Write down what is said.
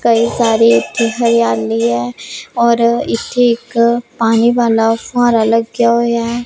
ਕਈ ਸਾਰੀ ਇੱਥੇ ਹਰਿਆਲੀ ਹੈ ਔਰ ਇੱਥੇ ਇੱਕ ਪਾਣੀ ਵਾਲਾ ਫੁਹਾਰਾ ਲੱਗਿਆ ਹੋਇਆ।